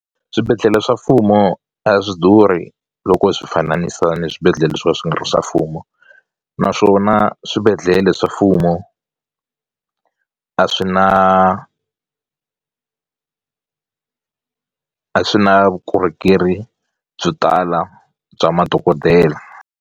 Swibedhlele swa mfumo a swi durhi loko swi fananisiwa ni swibedhlele swo ka swi nga ri swa mfumo naswona swibedhlele swa mfumo a swi na a swi na vukorhokeri byo tala bya madokodela.